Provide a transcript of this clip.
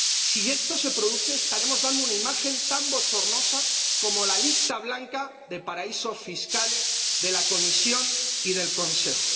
Si esto se produce, estaremos dando una imagen tan bochornosa como la lista blanca de paraísos fiscales de la Comisión y del Consejo.